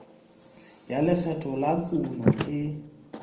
ya lekgetho la kuno e